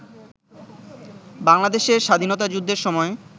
বাংলাদেশের স্বাধীনতাযুদ্ধের সময়